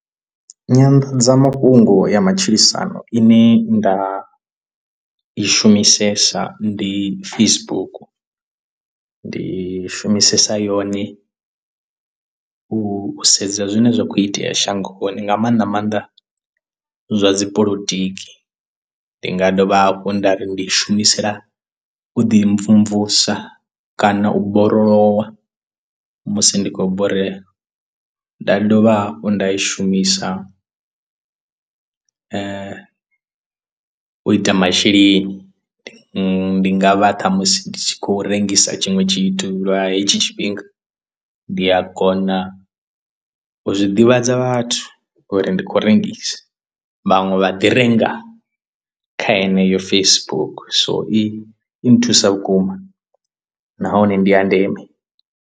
Nyanḓadzamafhungo ya matshilisano ine nda i shumisesa ndi Facebook ndi i shumisesa yone u sedza zwine zwa kho itea shangoni nga maanḓa maanḓa zwa dzi polotiki, ndi nga dovha hafhu nda ri ndi i shumisela u ḓimvumvusa kana u borolowa musi ndi khou borea. Nda dovha hafhu nda i shumisa u ita masheleni ndi nga vha thusa musi ndi tshi khou rengisa tshiṅwe tshithu lwa hetshi tshifhinga ndi a kona u u zwi ḓivhadza vhathu uri ndi khou rengisa vhaṅwe vha ḓi renga kha heneyo Facebook, so i nthusa vhukuma nahone ndi ya ndeme.